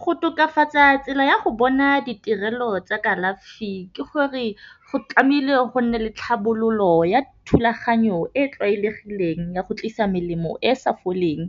Go tokafatsa tsela ya go bona ditirelo tsa kalafi ke gore, go tlameile go nne le tlhabololo ya thulaganyo e e tlwaelegileng ya go tlisa melemo e e sa foleng